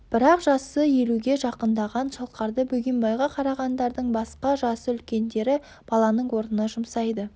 бірақ жасы елуге жақындаған шалқарды бөгенбайға қарағандардың басқа жасы үлкендері баланың орнына жұмсайды